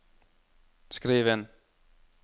skriv inn